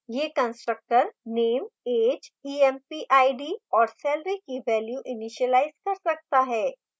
यह constructor name age empid और salary की values इनीशिलाज कर सकता है